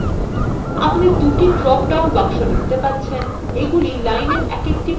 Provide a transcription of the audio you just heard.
আপনি দুটি drop down বাক্স দেখতে পাচ্ছেনএগুলি line এর একএকটি প্রান্তের জন্য